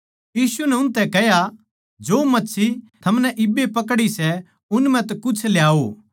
यीशु नै उनतै कह्या जो मच्छी थमनै इब्बे पकड़ी सै उन म्ह तै कुछ ल्याओ